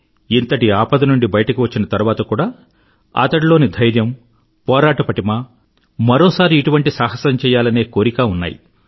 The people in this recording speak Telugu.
ఇంతటి ఆపద నుండి బయటకు వచ్చిన తరువాత కూడా అతడిలోని ధైర్యం పోరాట పటిమ మరోసారి ఇటువంటి సాహసం చెయ్యాలనే కోరిక ఉన్నాయి